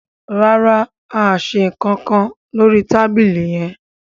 ràrá a ṣe nkan nkán lórí tábìlì yén.